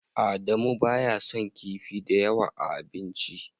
Adamu baya son kifi dayawa a abinci.